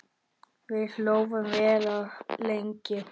Við hlógum vel og lengi.